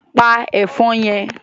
Pa ẹ̀fọn yẹn!